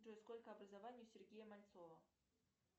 джой сколько образований у сергея мальцова